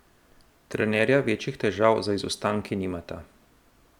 Trenerja večjih težav z izostanki nimata.